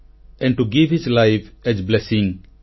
and to give his life as blessing